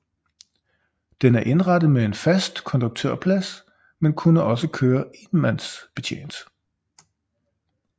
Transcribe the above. Den er indrettet med en fast konduktørplads men kunne også køre enmandsbetjent